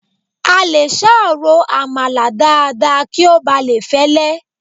A lè sá ro àmàlà dáadáa kí ó bà lè fẹ́lé